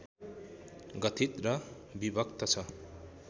गठित र विभक्त छ